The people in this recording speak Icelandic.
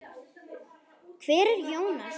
Hver er Jónas?